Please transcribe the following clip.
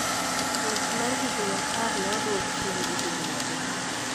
Twech mar higni apar ne odwok chien gi higni adek